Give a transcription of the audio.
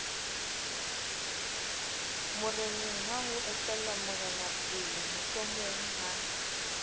morenengha ho etellwa morenapele mohlomongha